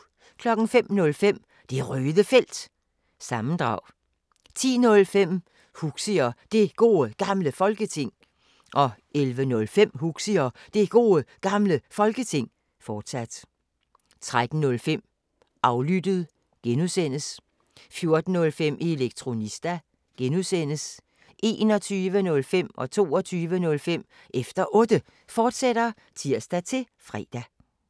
05:05: Det Røde Felt – sammendrag 10:05: Huxi og Det Gode Gamle Folketing 11:05: Huxi og Det Gode Gamle Folketing, fortsat 13:05: Aflyttet (G) 14:05: Elektronista (G) 21:05: Efter Otte, fortsat (tir-fre) 22:05: Efter Otte, fortsat (tir-fre)